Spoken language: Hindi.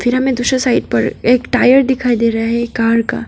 फ़िर हमें दूसरे साइड पर एक टायर दिखाई दे रहा है कार का।